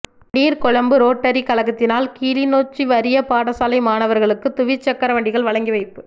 Negombo rotary கழகத்தினால் கிளிநொச்சி வறிய பாடசாலை மாணவர்களுக்கு துவிச்சக்கரவண்டிகள் வழங்கி வைப்பு